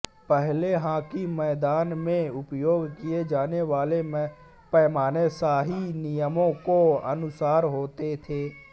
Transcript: पहले हॉकी मैदान में उपयोग किये जाने वाले पैमाने शाही नियमों के अनुसार होते थे